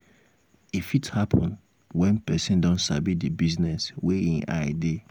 e fit happen when person um don sabi di business wey im eye dey